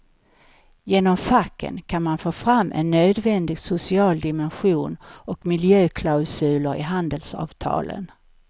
Genom facken kan man få fram en nödvändig social dimension och miljöklausuler i handelsavtalen.